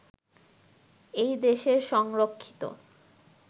এই দেশের সংরক্ষিত